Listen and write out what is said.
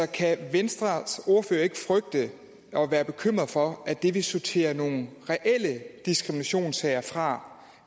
kan venstres ordfører ikke frygte og være bekymret for at det vil sorterere nogle reelle diskriminationssager fra